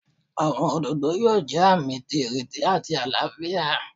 Awọn ododo yoo jẹ aami ti ireti ati alaafia.